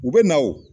U bɛ na o